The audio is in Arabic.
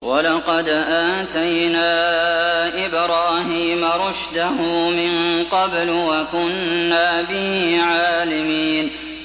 ۞ وَلَقَدْ آتَيْنَا إِبْرَاهِيمَ رُشْدَهُ مِن قَبْلُ وَكُنَّا بِهِ عَالِمِينَ